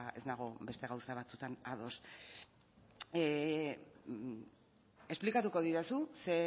ez nago beste gauza batzutan ados esplikatuko didazu ze